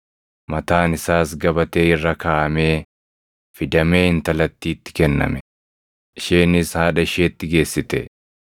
Mataan isaas gabatee irra kaaʼamee fidamee intalattiitti kenname; isheenis haadha isheetti geessite.